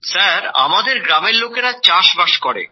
sir আমাদের গ্রামের লোকেরা চাষবাস করে